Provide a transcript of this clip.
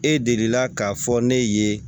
E delila k'a fɔ ne ye